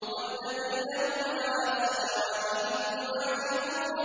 وَالَّذِينَ هُمْ عَلَىٰ صَلَوَاتِهِمْ يُحَافِظُونَ